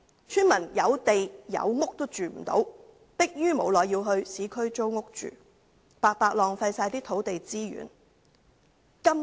村民有地、有屋也無法居住，逼於無奈要在市區租屋居住，白白浪費土地資源。